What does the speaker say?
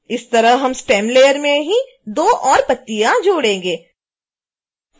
इसी तरह हम stem लेयर में ही दो और पत्तियाँ जोड़ेंगे